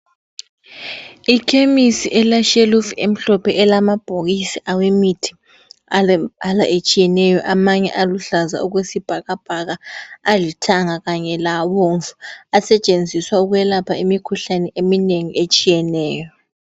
Ikhemisi eleshelufu emhlophe elamabhokisi awemithi alembala etshiyeneyo amanye aluhlaza okwesibhakabhaka, alithanga kanye labomvu asetshenziswa ukwelapha imikhuhlane eminengi etshiyeneyo.